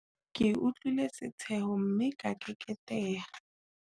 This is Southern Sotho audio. Ke utlwile setsheho mme ka keketeha.